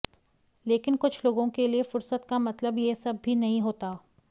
लेकिन कुछ लोगों के लिए फुर्सत का मतलब यह सब भी नहीं होता